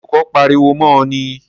Sé olùkó pariwo mó o ni?